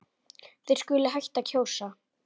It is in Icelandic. Þeir skuli hætta að kjósa.